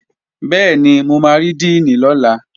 Bẹ́ẹ̀ni, mo máa rí díìnì lọ́la